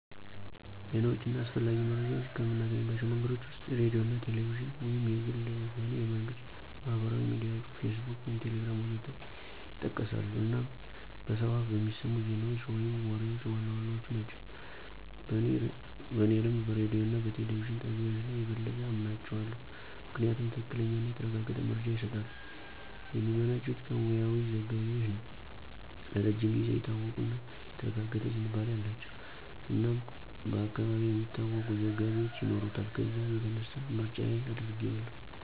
ዜናዎች እና አስፈላጊ መረጃዎች ከምናገኝባቸው መንገዶች ወስጥ ሬዲዮ አና ቴሌቪዥንና(የግልም ሆነ የመንግስት)፣ማህበራዊ ሚዲያዎች (ፌስቡክ፣ ቴሌግራም.... ወዘት) ይጠቀሳሉ አናም በሰው አፍ በሚሰሙት ዜናዎች ወይም ወሬዎች ዋነኛዎቹ ናቸው። በኔ ልምድ በሬዲዮ እና በቴሌቪዥን ጣቢያዎች ላይ የበለጠ አምናቸው አለው። ምክንያቱም ትክክለኛና የተረጋገጠ መረጃ ይስጣሉ፣ የሚመነጩት ከሙያዊ ዘጋቢዎች ነው፣ ለረጅም ጊዜው የታወቁ እና የተረጋገጠ ዝንባሌ አላቸው እናም በአካባቢው የሚታወቁ ዘጋቢዎች ይኖሩታል ከዚያ የተነሳ ምርጫየ አድርጋው አለሁ።